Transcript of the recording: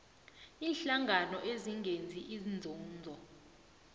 iinhlangano ezingenzi inzuzo